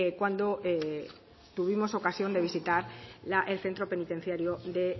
cuando tuvimos ocasión de visitar el centro penitenciario de